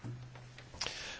Herr Präsident!